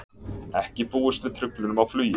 Ekki búist við truflunum á flugi